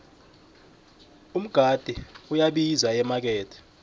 umgade uyabiza emakethe